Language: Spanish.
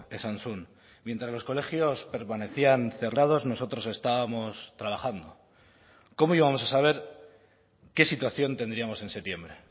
esan zuen mientras los colegios permanecían cerrados nosotros estábamos trabajando cómo íbamos a saber qué situación tendríamos en septiembre